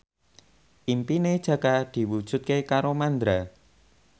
impine Jaka diwujudke karo Mandra